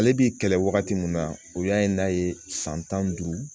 Ale bi kɛlɛ wagati min na o y'a ye n'a ye san tan ni duuru